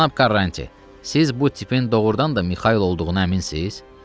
Cənab Karranti, siz bu tipin doğurdan da Mixayl olduğuna əminsiz?